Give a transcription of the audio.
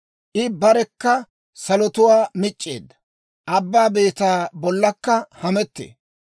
I barekka salotuwaa mic'c'eedda; abbaa beetaa bollankka hamettee.